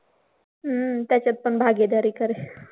हम्म त्याच्यात पण भागीदारी कर.